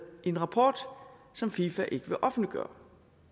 en rapport som fifa ikke vil offentliggøre